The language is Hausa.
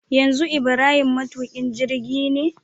yanzu ibrahim matukin jirgine